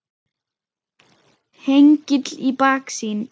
Hengill í baksýn.